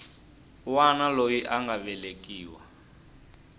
wana loyi a nga velekiwa